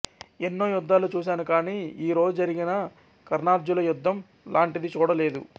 ఎన్నో యుద్ధాలు చూసాను కాని ఈ రోజు జరిగిన కర్ణార్జునుల యుద్ధం లాంటిది చూడ లేదు